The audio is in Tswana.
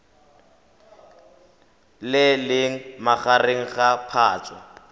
le leng magareng ga phatwe